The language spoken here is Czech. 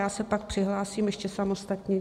Já se pak přihlásím ještě samostatně.